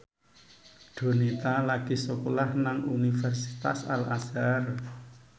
Donita lagi sekolah nang Universitas Al Azhar